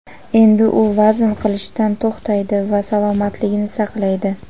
endi u vazn qilishdan to‘xtaydi va salomatligini saqlaydi.